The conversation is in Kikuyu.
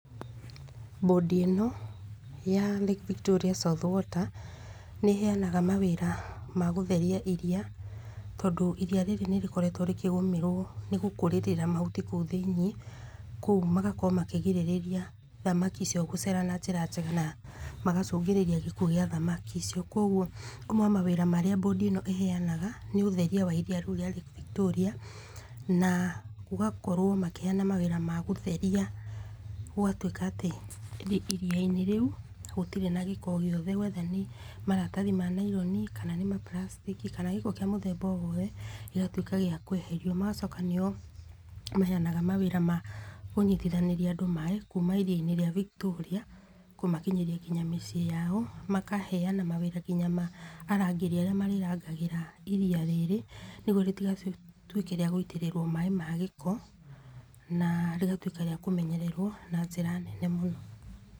Mbũndi ĩno ya Lake Victoria South Water nĩheanaga mawĩra ma gũtheria iria tondũ iria rĩrĩ nĩ rĩkoretwo rĩkĩgũmĩrwo nĩ gũkũrĩra mahuti kũu thĩinĩ magakorwo makĩrigĩrĩria thamaki icio na njĩra njega magacũnngĩrĩria gĩkuo gĩa thamaki ici, kwoguo kumana na mawĩra marĩa mbondi ĩno ĩheanaga nĩ ũtheria wa iria rĩu rĩa Lake Victoria na magakorwo makĩheana wĩra wa gũtheria gũgatuĩka atĩ iriainĩ rĩu gũtirĩ na gĩko o gĩothe whether nĩ maratathi ma naironi kana nĩ ma plastic kana gĩko kĩa mũthemba o wothe, gĩgatuĩka gĩa kweherio magacoka nĩo maheanaga wĩra wa kũnyitithanĩria andũ maĩ kuma iriainĩ rĩa Victoria kumakinyĩria mũciĩ yao makaheana mawĩra ma arangĩri arĩa marĩrangagĩra iria rĩrĩ nĩcio rĩrigatuĩke rĩa gũitĩrwo maĩ ma gĩko na rĩgatuĩka rĩa kũmenyerwo na njĩra nene mũno.